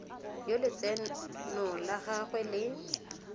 yo letseno la gagwe le